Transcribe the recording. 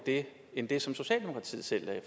end det som socialdemokratiet selv lagde